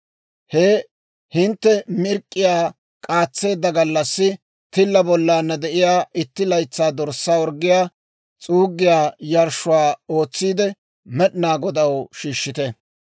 He hintte mirk'k'iyaa k'aatseedda gallassi tilla bollaanna de'iyaa itti laytsaa dorssaa orggiyaa s'uuggiyaa yarshshuwaa ootsiide Med'inaa Godaw shiishshite.